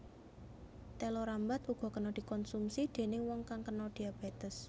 Téla rambat uga kena dikonsumsi déning wong kang kena diabétes